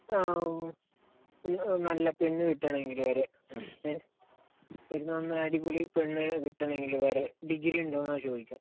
നല്ല പെണ്ണുകിട്ടണമെങ്കിൽ വരെ. ഇപ്പൊ നല്ല അടിപൊളി പെണ്ണ് കിട്ടണമെങ്കിൽ വരെ ഡിഗ്രി ഉണ്ടോ എന്നാണ് ചോദിക്കുക.